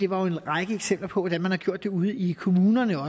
var jo en række eksempler på hvordan man også har gjort det ude i kommunerne